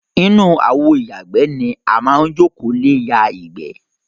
Inú àwo ìyàgbẹ́ ni a máa ń jókòó lé ya ìgbẹ́.